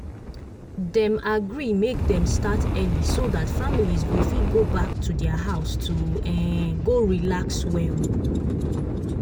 dem agree make dem start early so that families go fit go back to their house to um go relax well.